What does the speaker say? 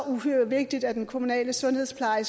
uhyre vigtigt at den kommunale sundhedspleje